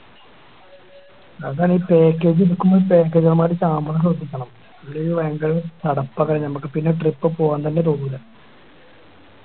അതാണ് ഈ Package എടുക്കുമോ Package അവൻമ്മാരി സാമാനം എത്തിക്കണം ഇല്ലെങ്കി ഭയങ്കര ചടപ്പാക്കി ഞമ്മക്ക് പിന്നെ Trip പോവാൻ തോന്നൂല